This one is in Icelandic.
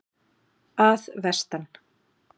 Að vestan.